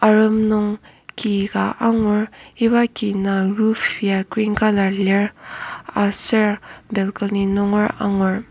arem nung ki ka angur iba ki nung roof ya green colour lir aser balcony nunger angur.